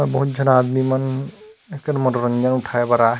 बहुत झन आदमी मन एकर मनोरंजन उठाए बर आय हे।